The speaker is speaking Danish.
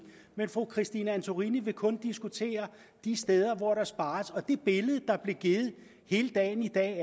men fru christine antorini vil kun diskutere de steder hvor der spares det billede der hele dagen i dag